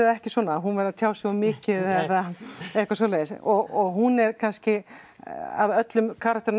ekki svona að hún væri að tjá sig of mikið eða eitthvað svoleiðis og hún er kannski af öllum